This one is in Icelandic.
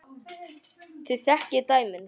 Þið þekkið dæmin.